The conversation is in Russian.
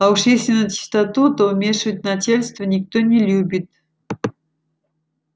а уж если начистоту то вмешивать начальство никто не любит